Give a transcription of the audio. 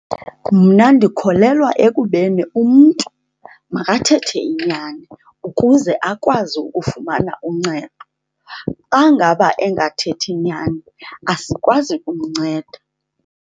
Mna ndikholelwa ekubeni umntu makathethe inyani ukuze akwazi ukufumana uncedo. Xa ngaba engathethi nyani asikwazi kumnceda.